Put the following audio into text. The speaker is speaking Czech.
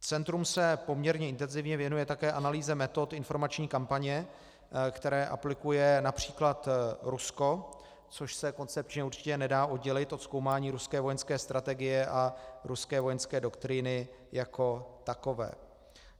Centrum se poměrně intenzivně věnuje také analýze metod informační kampaně, které aplikuje například Rusko, což se koncepčně určitě nedá oddělit od zkoumání ruské vojenské strategie a ruské vojenské doktríny jako takové.